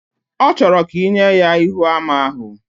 Ochoro ka inye ya Íhúamá ahu?